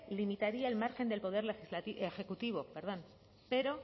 limitaría el margen del poder ejecutivo pero